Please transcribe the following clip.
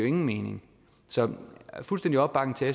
ingen mening så fuldstændig opbakning til